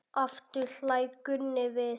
Aftur hlær Gunni við.